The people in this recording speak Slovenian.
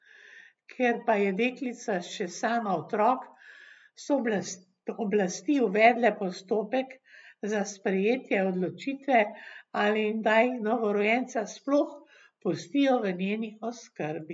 Ker pa je deklica še sama otrok, so oblasti uvedle postopek za sprejetje odločitve, ali naj novorojenca sploh pustijo v njeni oskrbi.